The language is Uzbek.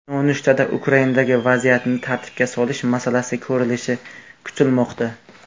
Nonushtada Ukrainadagi vaziyatni tartibga solish masalasi ko‘rilishi kutilmoqda.